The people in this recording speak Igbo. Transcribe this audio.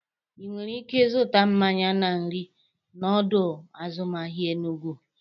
Inwere ike ịzụta mmanya na nri na ọdọ azụmahịa Enugwu.